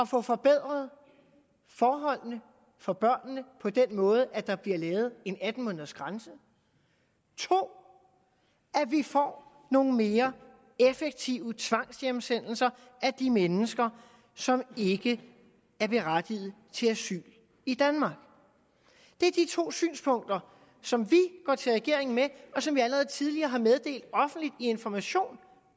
får forbedret forholdene for børnene på den måde at der bliver lavet en atten måneders grænse 2 at vi får nogle mere effektive tvangshjemsendelser af de mennesker som ikke er berettiget til asyl i danmark det er de to synspunkter som vi går til regeringen med og som vi allerede tidligere har meddelt offentligt i information